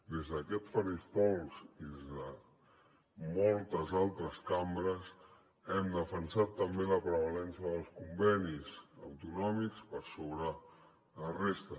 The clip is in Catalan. des d’aquest faristol i des de moltes altres cambres hem defensat també la prevalença dels convenis autonòmics per sobre de la resta